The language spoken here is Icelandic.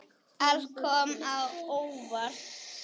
Allt kom á óvart.